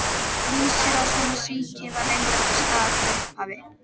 Vísir að svona síki var reyndar til staðar frá upphafi.